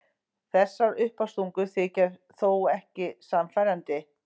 Þessar uppástungur þykja þó ekki sannfærandi.